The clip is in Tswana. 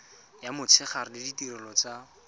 ya motshegare le ditirelo tsa